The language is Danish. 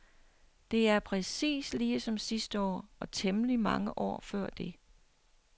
Det er præcis ligesom sidste år og temmelig mange år før det.